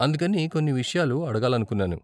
అందుకని కొన్ని విషయాలు అడగాలనుకున్నాను.